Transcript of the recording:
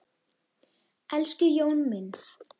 Elsku Jón minn.